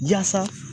Jasa